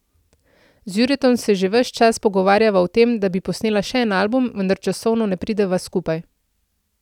Z Juretom se že ves čas pogovarjava o tem, da bi posnela še en album, vendar časovno ne prideva skupaj.